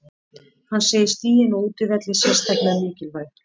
Hann segir stigin á útivelli sérstaklega mikilvæg.